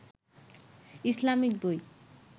Islamic বই